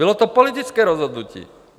Bylo to politické rozhodnutí.